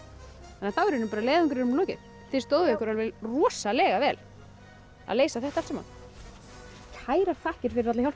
þá er leiðangrinum lokið þið stóðuð ykkur rosalega vel að leysa þetta allt saman kærar þakkir fyrir alla hjálpina